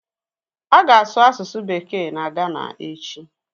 A ga-asụ asụsụ bekee na Gana echi